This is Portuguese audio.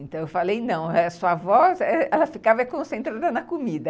Então, eu falei, não, sua avó, ela ficava concentrada na comida.